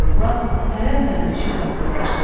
Toyuqlar pərən-pərən düşüb qaqqıldaşdılar.